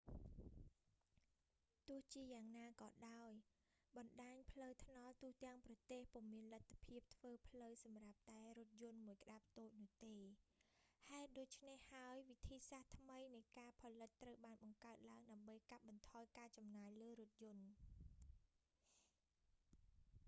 ទោះជាយ៉ាងណាក៏ដោយ បណ្តាញផ្លូវថ្នល់ទូទាំងប្រទេសពុំមានលទ្ធភាពធ្វើផ្លូវសម្រាប់តែរថយន្តមួយក្តាប់តូចនោះទេ ហេតុដូច្នេះហើយ វិធីសាស្រ្តថ្មីនៃការផលិតត្រូវបានបង្កើតឡើង ដើម្បីកាត់បន្ថយការចំណាយលើរថយន្ត